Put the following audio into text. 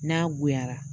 N'a goyara